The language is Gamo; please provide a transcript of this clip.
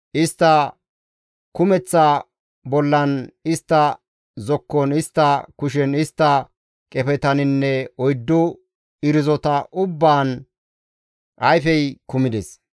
Istta kumeththa bollan, istta zokkon, istta kushen, istta qefetaninne oyddu irzota ubbaan ayfey kumides.